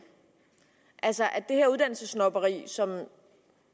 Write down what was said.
altså at det her uddannelsessnobberi som